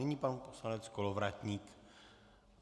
Nyní pan poslanec Kolovratník.